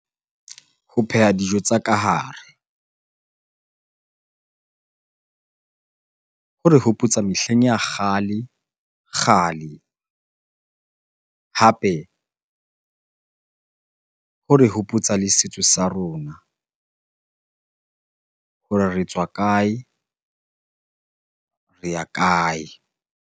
Ho pheha dijo tsa kahare hore hopotsa mehleng ya kgale-kgale. Hape hore hopotsa le setso sa rona hore re tswa kae? Re ya kae?